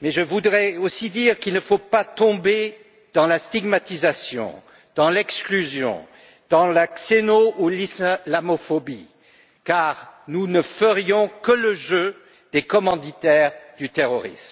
Mais je voudrais aussi dire qu'il ne faut pas tomber dans la stigmatisation, dans l'exclusion, dans la xénophobie ou l'islamophobie, car nous ferions le jeu des commanditaires du terrorisme.